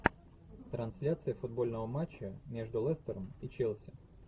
трансляция футбольного матча между лестером и челси